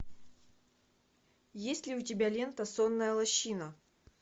есть ли у тебя лента сонная лощина